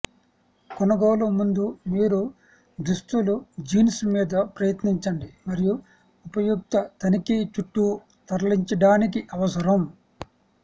కొనుగోలు ముందు మీరు దుస్తులు జీన్స్ మీద ప్రయత్నించండి మరియు ఉపయుక్త తనిఖీ చుట్టూ తరలించడానికి అవసరం